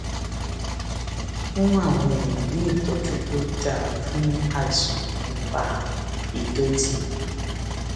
fún àwọn èèyàn ní ìtójú tó dáa fún àìsàn tó ń fa ìdòtí